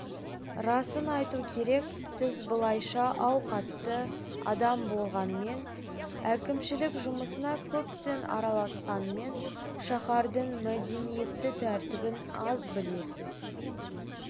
расын айту керек сіз былайша ауқатты адам болғанмен әкімшілік жұмысына көптен араласқанмен шаһардың мәдениетті тәртібін аз білесіз